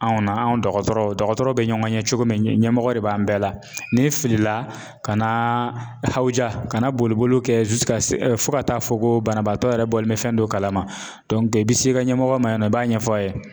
Anw na anw dɔgɔtɔrɔw dɔgɔtɔrɔ bɛ ɲɔgɔn ɲɛ cogo min ɲɛmɔgɔ de b'an bɛɛ la n'i filila ka na hawuja kana boli boli kɛ fo ka taa fɔ ko banabaatɔ yɛrɛ bɔlen bɛ fɛn dɔ kalama i bɛ se i ka ɲɛmɔgɔ ma yen nɔ i b'a ɲɛfɔ a ye.